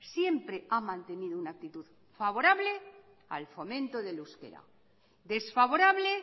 siempre ha mantenido una actitud favorable al fomento del euskera desfavorable